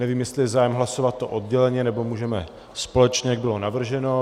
Nevím, jestli je zájem hlasovat to odděleně, nebo můžeme společně, jak bylo navrženo.